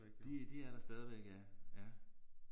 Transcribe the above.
De de er der stadigvæk ja ja